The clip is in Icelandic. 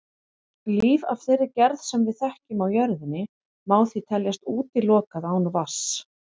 Líf af þeirri gerð sem við þekkjum á jörðinni má því teljast útilokað án vatns.